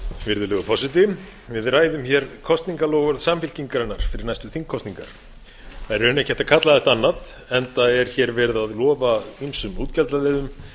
virðulegur forseti við ræðum kosningaloforð samfylkingarinnar fyrir næstu þingkosningar það er í rauninni ekki hægt að kalla þetta annað enda er verið að lofa ýmsum útgjaldaliðum